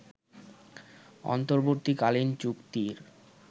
অন্তর্বর্তীকালীন চুক্তির